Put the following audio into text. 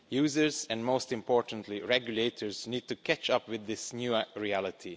Users and, most importantly, regulators need to catch up with this new reality.